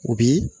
U bi